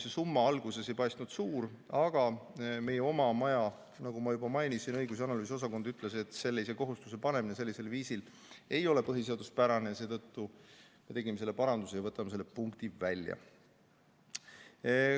See summa alguses ei paistnud suur, aga nagu juba mainisin, siis meie oma maja õigus- ja analüüsiosakond ütles, et sellise kohustuse panemine sellisel viisil ei ole põhiseaduspärane, ja seetõttu me tegime paranduse ja võtame selle punkti välja.